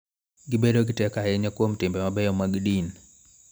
Gibedo gi teko ahinya kuom timbe mabeyo mag din.